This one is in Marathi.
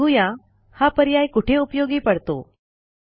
बघू या हा पर्याय कोठे उपयोगी पडतो